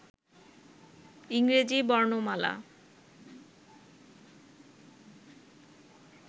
ইংরেজি বর্ণমালা